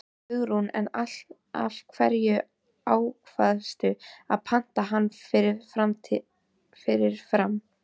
Hugrún: En af hverju ákvaðstu að panta hann svona fyrirfram?